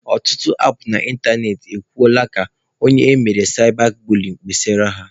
Ọtụtụ apụ na ịntanetị e kwuola ka onye emere saịba buliyin kpesara ha.